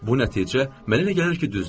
Bu nəticə mənə elə gəlir ki, düzdür.